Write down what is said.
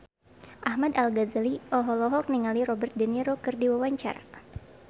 Ahmad Al-Ghazali olohok ningali Robert de Niro keur diwawancara